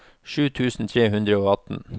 sju tusen tre hundre og atten